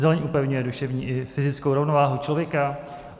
Zeleň upevňuje duševní i fyzickou rovnováhu člověka.